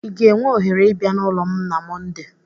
Ị ga-enwe ohere ịbịa n'ụlọ m na Mọnde?